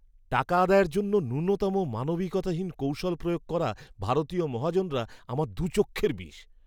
টাকা আদায়ের জন্য ন্যূনতম মানবিকতাহীন কৌশল প্রয়োগ করা ভারতীয় মহাজনরা আমার দু'চক্ষের বিষ।